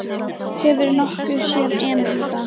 Hefurðu nokkuð séð Emil í dag?